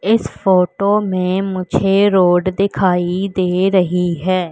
इस फोटो में मुझे रोड दिखाई दे रही है।